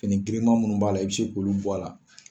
Fini giriman munnu b'a la , i bi se k'olu bɔ a la.